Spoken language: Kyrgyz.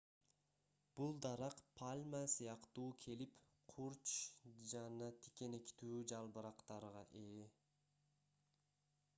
бул дарак пальма сыяктуу келип курч жана тикенектүү жалбырактарга ээ